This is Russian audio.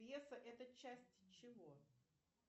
пьеса это часть чего